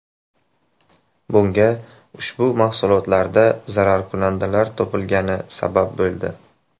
Bunga ushbu mahsulotlarda zararkunandalar topilgani sabab bo‘ldi.